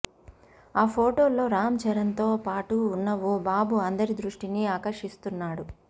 ఆ ఫొటోల్లో రామ్ చరణ్తో పాటు ఉన్న ఓ బాబు అందరి దృష్టినీ ఆకర్షిస్తున్నాడు